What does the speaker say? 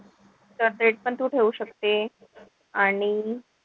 तर ते पण तू ठेऊ शकते. आणि,